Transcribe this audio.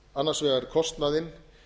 annars vegar kostnaðinn